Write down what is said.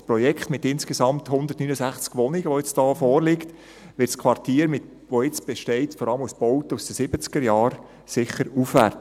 Das Projekt mit insgesamt 169 Wohnungen, das hier nun vorliegt, wird das Quartier, das jetzt vor allem aus Bauten aus den 1970er-Jahren besteht, sicher aufwerten.